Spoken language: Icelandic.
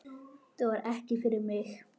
Þetta var ekki fyrir mig